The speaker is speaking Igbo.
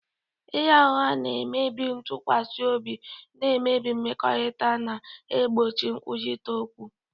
Ịgha ụgha na-emebi ntụkwasị obi, na-emebi mmekọrịta, na-egbochi nkwurịta okwu.